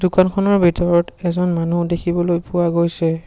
দোকানখনৰ ভিতৰত এজন মানুহ দেখিবলৈ পোৱা গৈছে।